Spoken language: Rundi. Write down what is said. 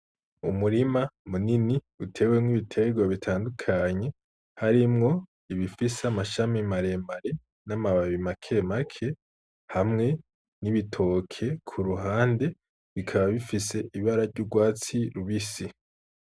Umurima munini utewemwo ibitegwa bitandukanye harimwo ibifise amashami mare mare n' amababi make make hamwe n' ibitoke kuruhande bikaba bifise ibara ry'ugwatsi rubisi.